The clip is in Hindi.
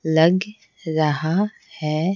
लग रहा है।